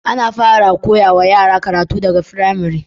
Ana fara koya wa yara karatu daga pramari